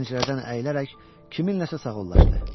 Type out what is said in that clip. Pəncərədən əyilərək kiminləsə sağollaşdı.